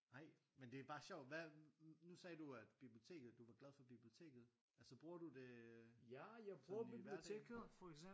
Ej men det er bare sjovt hvad nu sagde du at biblioteket du var glad for biblioteket altså bruger du det sådan i hverdagen